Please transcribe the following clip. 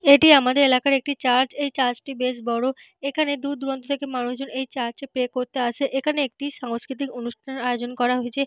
এটি আমাদের এলাকার একটি চার্চ । এই চার্চ টি বেশ বড়। এখানে দূর দূরান্ত থেকে মানুষ এখানে প্রে করতে আসে। এখানে একটি সাংস্কৃতিক অনুষ্ঠান আয়োজন করা হয়েছে।